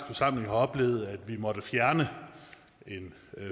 forsamling har oplevet at vi måtte fjerne en